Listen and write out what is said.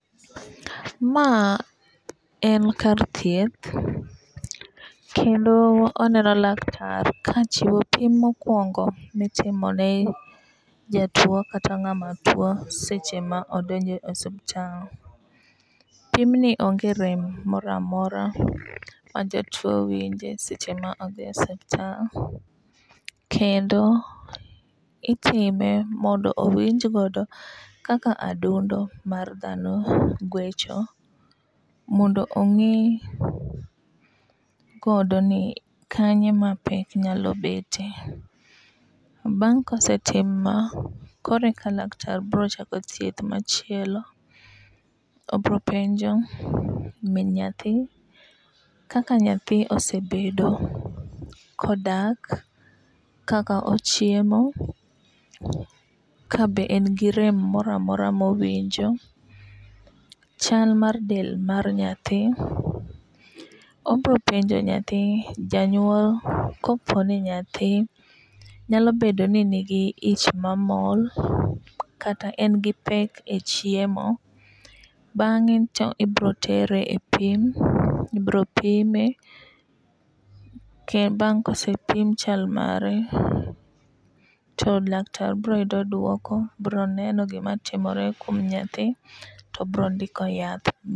Ma en kar thieth kendo aneno laktar kachiwo pim mokwongo mitimo ne jatuo kata ng'ama tuo seche ma odonjo e osiptal. Pimni onge rem moramora ma jatuo winje seche ma odhi e ospital kendo itime mondo owinj godo kaka adundo mar dhano gwecho mondo ong'e godo ni kanye ma pek nyalo bete. Bang' kosetim ma kore ka laktar bro chako thieth machielo. Obro penjo min nyathi kaka nyathi osebedo kodak, kaka ochiemo, kabe en gi rem moramora mowinjo, chal mar del mar nyathi. Obro penjo nyathi janyuol kopo ni nyathi nyalo bedo ni nigi ich mamol kata en gi pek e chiemo. Bang'e to ibro tere e pim ibro pime kendo bang' kosepim chal mare to laktar bro yudo duoko bro neno gima timore kuom nyathi tobro ndiko yath.